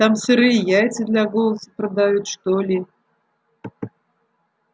там сырые яйца для голоса продают что ли